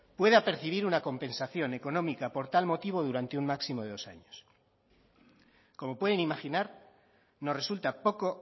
pueda percibir una compensación económica por tal motivo durante un máximo de dos años como pueden imaginar nos resulta poco